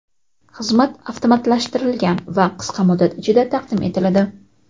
Xizmat avtomatlashtirilgan va qisqa muddat ichida taqdim etiladi.